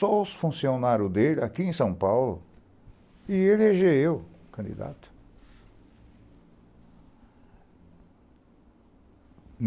Só os funcionários dele aqui em São Paulo, ia eleger eu candidato.